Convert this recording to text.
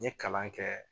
N ye kalan kɛ